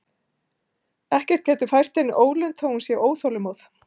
Ekkert getur fært henni ólund þótt hún sé óþolinmóð.